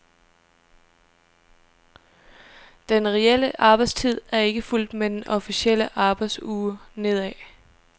Den reelle arbejdstid er ikke fulgt med den officielle arbejdsuge nedad.